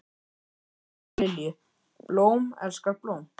Smári elskar Lilju, blóm elskar blóm.